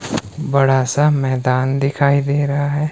बड़ा सा मैदान दिखाई दे रहा है।